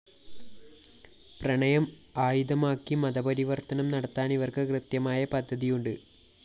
പ്രണയം ആയുധമാക്കി മതപരിവര്‍ത്തനം നടത്താന്‍ ഇവര്‍ക്ക് കൃത്യമായ പദ്ധതിയുണ്ട്